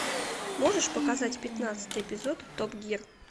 можешь показать пятнадцатый эпизод топ гир